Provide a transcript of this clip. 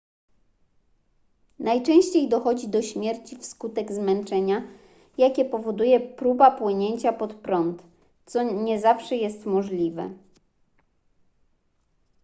najczęściej dochodzi do śmierci wskutek zmęczenia jakie powoduje próba płynięcia pod prąd co nie zawsze jest możliwe